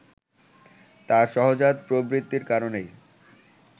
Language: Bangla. তার সহজাত প্রবৃত্তির কারণেই